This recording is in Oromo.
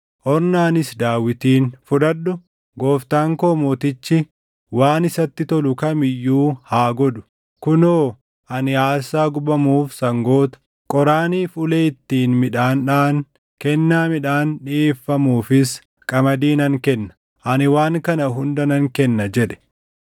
Ornaanis Daawitiin, “Fudhadhu! Gooftaan koo mootichi waan isatti tolu kam iyyuu haa godhu. Kunoo ani aarsaa gubamuuf sangoota, qoraaniif ulee ittiin midhaan dhaʼan, kennaa midhaan dhiʼeeffamuufis qamadii nan kenna; ani waan kana hunda nan kenna” jedhe.